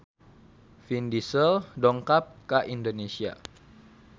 Vin Diesel dongkap ka Indonesia